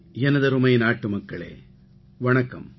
எனதருமை நாட்டுமக்களே வணக்கம்